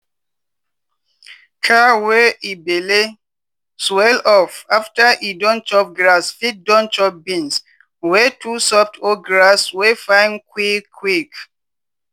cow wey e belle swell up after e don chop grass fit don chop beans wey too soft or grass wey fine quick quick.